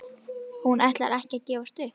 Hún ætlar ekki að gefast upp!